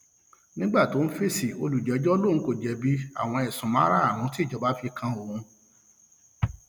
nígbà tó ń fèsì olùjẹjọ lòun kò jẹbi àwọn ẹsùn márùnún tí ìjọba fi kan òun